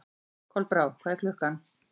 Kolbrá, hvað er klukkan?